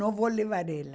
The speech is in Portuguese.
Não vou levar ela.